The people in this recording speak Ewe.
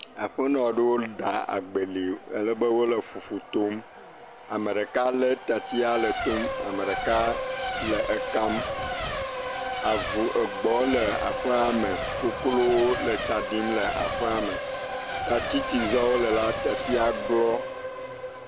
Aƒenɔ aɖewo ɖa agbeli alebe wole fufu tom, ame ɖeka lé tatsi le etom ame ɖeka le ekam, avu, egbɔ le aƒea me koklowo le tsa ɖim le aƒeame, tati si zam wole la tatia glɔ.